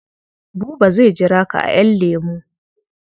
Buba zai jira ka a ƴan lemu.